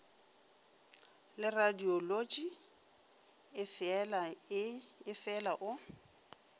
le radiolotši e feela o